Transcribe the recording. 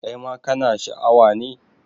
Kai ma kana Sha a wa ne?